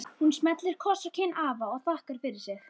Hún smellir kossi á kinn afa og þakkar fyrir sig.